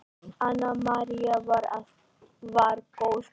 Anna María var góð kona.